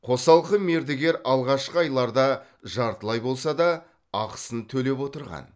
қосалқы мердігер алғашқы айларда жартылай болса да ақысын төлеп отырған